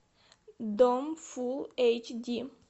дом фулл эйч ди